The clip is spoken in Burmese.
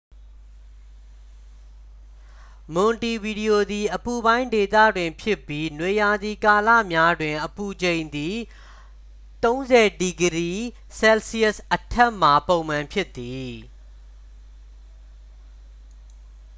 မွန်တီဗီဒီယိုသည် အပူပိုင်းဒေသတွင်ဖြစ်ပြီး နွေရာသီကာလများတွင် အပူချိန်သည် +၃၀°c အထက်မှာ ပုံမှန်ဖြစ်သည်။